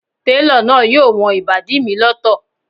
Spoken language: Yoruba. Télọ̀ náà yóò wọn ìbàdí mi lọ́tọ̀